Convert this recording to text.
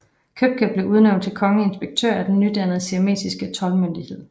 Købke blev udnævnt til kongelig inspektør af den nydannede siamesiske toldmyndighed